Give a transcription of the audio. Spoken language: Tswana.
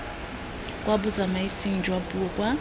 kwa botsamaising jwa puo kwa